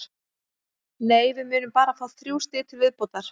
Nei, við munum bara fá þrjú stig til viðbótar.